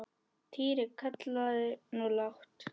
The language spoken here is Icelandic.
Týri! kallaði hún lágt.